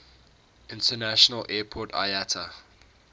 international airport iata